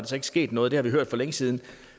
så ikke sket noget det har vi hørt for længe siden og